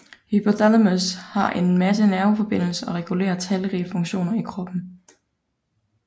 Hypothalamus har en masse nerveforbindelser og regulerer talrige funktioner i kroppen